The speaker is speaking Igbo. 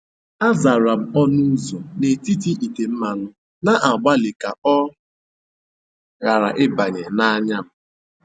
Azara m ọnụ ụzọ n’etiti ite mmanụ, na-agbalị ka ọ ghara ịbanye n’anya m."